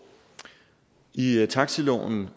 i i taxiloven